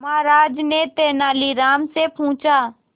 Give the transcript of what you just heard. महाराज ने तेनालीराम से पूछा